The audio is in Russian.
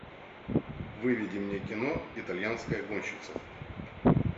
выведи мне кино итальянская гонщица